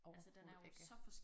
Overhovedet ikke